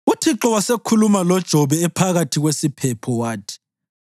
UThixo wasekhuluma loJobe ephakathi kwesiphepho. Wathi: